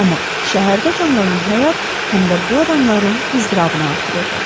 Amma şəhərdə canlanan həyat həm də bu adamların iztirabını artırırdı.